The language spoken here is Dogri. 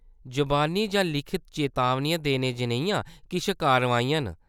जबानी जां लिखत चेतावनियां देने जनेहियां किश कारवाइयां न।